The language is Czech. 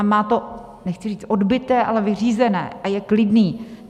A má to nechci říct odbyté, ale vyřízené a je klidný.